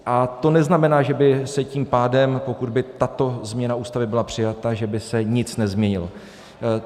A to neznamená, že by se tím pádem, pokud by tato změna Ústavy byla přijata, že by se nic nezměnilo.